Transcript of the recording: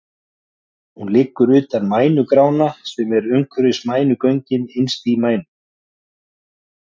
Hún liggur utan um mænugrána sem er umhverfis mænugöngin innst í mænu.